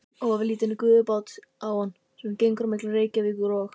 Ofurlítinn gufubát á hann, sem gengur á milli Reykjavíkur og